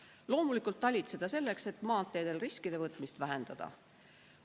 Talitseda on vaja loomulikult selleks, et maanteedel riskide võtmist vähendada.